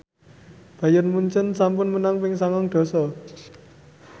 Bayern Munchen sampun menang ping sangang dasa